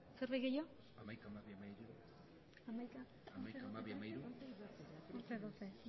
zerbait gehiago hamaikagarrena eta hamabigarrena ebazpenak